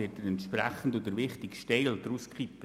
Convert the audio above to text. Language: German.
Nur wird der wichtigste Teil aufgehoben.